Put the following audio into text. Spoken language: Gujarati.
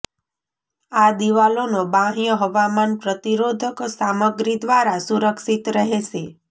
આ દિવાલોનો બાહ્ય હવામાન પ્રતિરોધક સામગ્રી દ્વારા સુરક્ષિત રહેશે